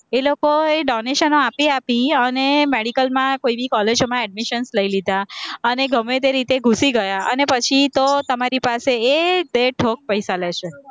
એ લોકો donation આપી આપી અને medical માં કોઈની college ઓમાં admission લઇ લીધા, અને ગમે તે રીતે ઘુસી ગયા અને પછી તો તમારી પાસે એ બેઠોક પૈસા લે છે